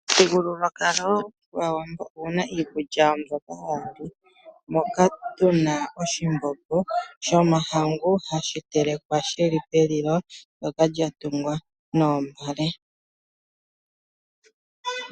Omuthigululwakalo gwaawambo oguna iikulya ya wo mbyoka ha yali, moka tuna oshimbombo shomahangu hashi telekwa shili pelilo ndoka lya tungwa noombale.